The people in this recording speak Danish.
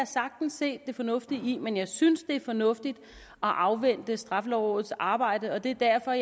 sagtens se det fornuftige i men jeg synes det er fornuftigt at afvente straffelovrådets arbejde og det er derfor